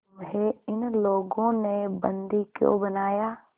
तुम्हें इन लोगों ने बंदी क्यों बनाया